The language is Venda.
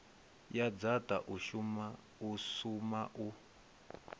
ya dzaṱa u suma u